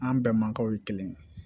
An bɛɛ mankaw ye kelen